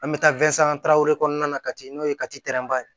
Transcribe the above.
An bɛ taa kɔnɔna na kati n'o ye